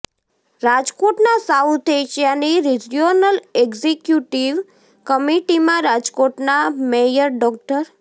રાજકોટના સાઉથ એશિયાની regional executive કમિટીમાં રાજકોટના મેયર ડો